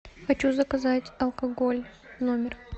хочу заказать алкоголь в номер